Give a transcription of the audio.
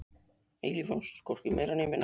Eilíf ást, hvorki meira né minna.